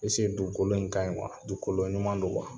dukolo in ka ɲi wa dukolo ɲuman don wa